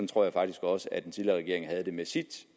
tror jeg faktisk også at den tidligere regering havde det med sit